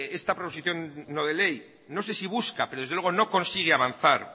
esta proposición no de ley no sé si busca pero desde luego no consigue avanzar